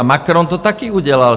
A Macron to taky udělal.